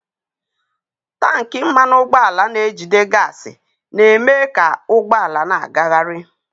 Tankị mmanụ ụgbọala na-ejide gaasị na-eme ka ụgbọ ala na-agagharị.